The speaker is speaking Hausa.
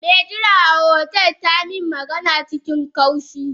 Me jira a otel tamin magana cikin kaushi.